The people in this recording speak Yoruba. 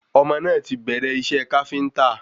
Ọmọ náà ti bẹ̀rẹ̀ iṣẹ́ Káfíntà